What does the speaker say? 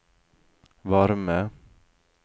varme